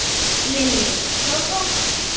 Lillý: Stór hópur?